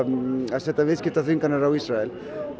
setja viðskiptaþvinganir á Ísrael